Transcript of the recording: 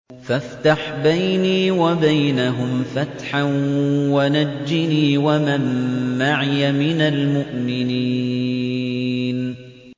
فَافْتَحْ بَيْنِي وَبَيْنَهُمْ فَتْحًا وَنَجِّنِي وَمَن مَّعِيَ مِنَ الْمُؤْمِنِينَ